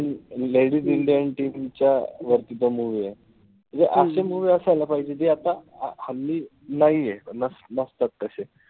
ladies indian team च्या वरती तो movie ए. म्हणजे अशे movie असायला पाहिजे जे आता हल्ली नाहीये. नसतात तशे.